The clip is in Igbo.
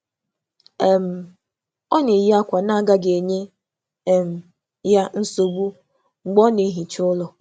Ha na-akpọ enyi ha ka ha bịakwute emume ime ọrụ ụlọ, ebe e nwere egwu na nri ụtọ.